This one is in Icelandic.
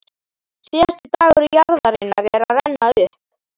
Síðasti dagur jarðarinnar er að renna upp.